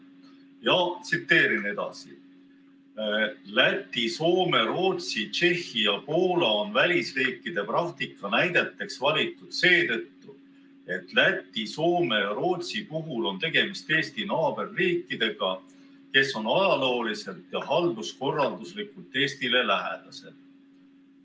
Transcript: Ja tsiteerin edasi: "Läti, Soome, Rootsi, Tšehhi ja Poola on välisriikide praktika näideteks valitud seetõttu, et Läti, Soome ja Rootsi puhul on tegemist Eesti naaberriikidega, kes on ajalooliselt ja halduskorralduslikult Eestile lähedased.